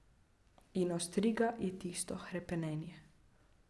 In ostriga je tisto hrepenenje ...